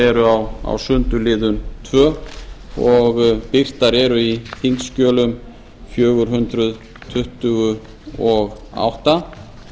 eru á sundurliðað tvö og birtar eru í þingskjölum fjögur hundruð tuttugu og átta